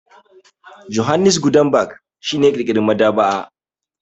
Johannes Gutenberg shi ne ya ƙirƙira maɗaba'a.